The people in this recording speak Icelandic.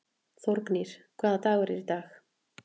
Þórgnýr, hvaða dagur er í dag?